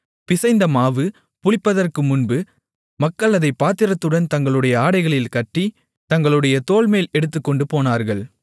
பிசைந்தமாவு புளிப்பதற்குமுன்பு மக்கள் அதைப் பாத்திரத்துடன் தங்களுடைய ஆடைகளில் கட்டி தங்களுடைய தோள்மேல் எடுத்துக்கொண்டு போனார்கள்